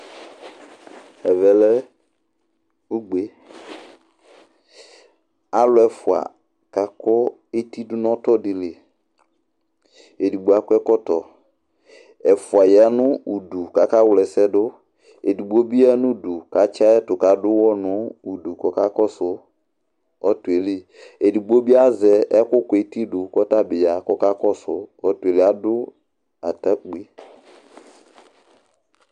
Ɛvɛ lɛ ugbe Alʋ ɛfua kakʋ eti dʋ nʋ ɔtɔdɩ li Edigbo akɔ ɛkɔtɔ Ɛfua ya nʋ udu kaka wla ɛsɛdʋ, edigbo bɩ ya nudu katsɩ ayɛtʋ k'adʋwɔ nudu k'ɔka kɔsʋ ɔtɔ yɛ li, edigbo bɩ azɛ ɛkʋ kʋ eti dʋ k'ɔtabɩ ya k'ɔka kɔsʋ ɔtɔ yɛ li, adʋ stakpui